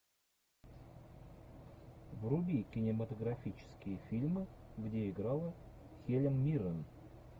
вруби кинематографические фильмы где играла хелен миррен